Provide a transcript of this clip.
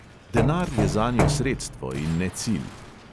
Denar je zanjo sredstvo in ne cilj.